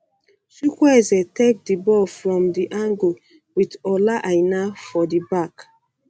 chukwueze take di ball from um di angle wit ola aina for di back